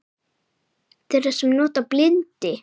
Þeirra sem nota bindi?